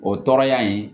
O tɔɔrɔya in